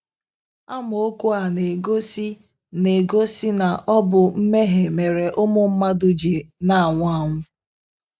Amaokwu a na - egosi na - egosi na ọ bụ mmehie mere ụmụ mmadụ ji na - anwụ anwụ.